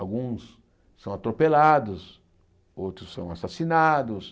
Alguns são atropelados, outros são assassinados.